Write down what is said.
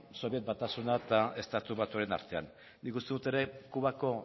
sobiet batasuna eta estatu batuen artean nik uste dut ere kubako